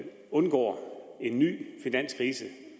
undgår en ny finanskrise